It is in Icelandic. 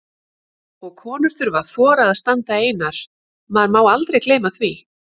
Og konur þurfa að þora að standa einar, maður má aldrei gleyma því!